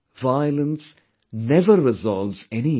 Violence never resolves any issue